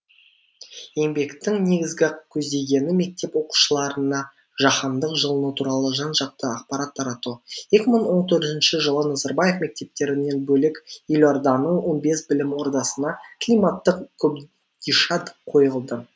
еңбектің негізгі көздегені мектеп оқушыларына жаһандық жылыну туралы жан жақты ақпарат тарату екі мың он төртінші жылы назарбаев мектептерінен бөлек елорданың он бес білім ордасына климаттық қобдиша қойылды